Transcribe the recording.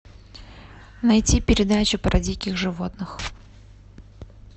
найти передачу про диких животных